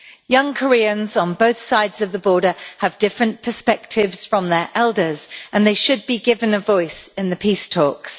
Young Koreans, on both sides of the border, have different perspectives from their elders and they should be given a voice in the peace talks.